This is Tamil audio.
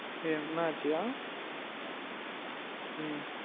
என்ன ஆச்சு யா உம்